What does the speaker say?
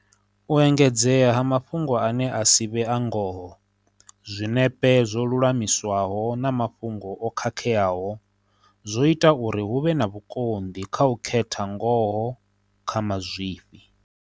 U engedzea ha mafhungo ane a si vhe a ngoho, zwinepe zwo lulamiswaho na mafhungo o khakheaho zwo ita uri hu vhe na vhukonḓi kha u khetha ngoho kha mazwifhi.